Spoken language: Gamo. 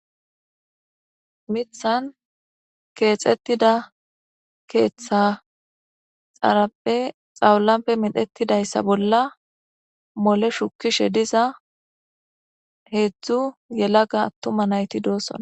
Mithan keexettida keeththa xarappe xawulape midhettidayssa bolla mole shukishe diza heedzdzu yelaga attuma nayti doossona.